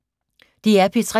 DR P3